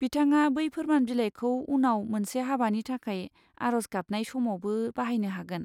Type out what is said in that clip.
बिथाङा बै फोरमान बिलाइखौ उनाव मोनसे हाबानि थाखाय आर'ज गाबनाय समावबो बाहायनो हागोन।